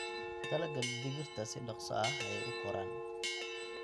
Dalagga digirta si dhaqso ah ayey u koraan.